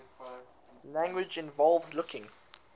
language involves looking